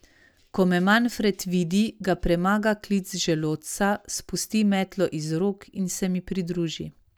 Ko me Manfred vidi, ga premaga klic želodca, spusti metlo iz rok in se mi pridruži.